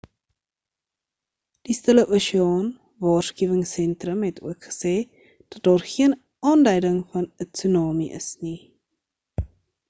die stille oseaan waarskuwingsentrum het ook gesê dat daar geen aanduiding van 'n tsunami is nie